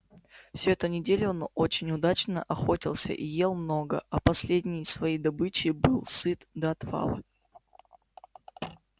всю эту неделю он очень удачно охотился и ел много а последней своей добычей был сыт до отвала